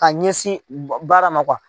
Ka ɲɛsin baara ma